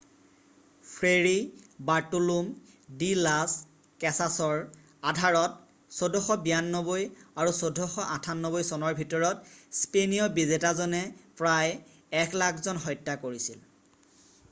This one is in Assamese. ফ্ৰেৰী বাৰ্টুলুম ডি লাছ কেছাছৰ ট্ৰাটাডু ডি লাছ ইণ্ডিয়াছ আধাৰত ১৪৯২ আৰু ১৪৯৮ চনৰ ভিতৰত স্পেনীয় বিজেতাজনে প্ৰায় ১০০,০০০ জন হত্যা কৰিছিল।